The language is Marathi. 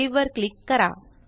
सावे वर क्लिक करा